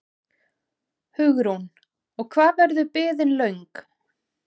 Hugrún: Og hvað verður biðin löng?